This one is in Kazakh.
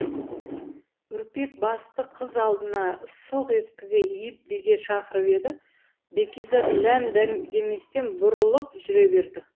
үрпек басты қыз алдына сылқ еткізе иіп биге шақырып еді бәкизат ләм деместен бұрылып жүре берді